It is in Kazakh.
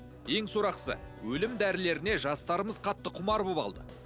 ең сорақысы өлім дәрілеріне жастарымыз қатты құмар болып алды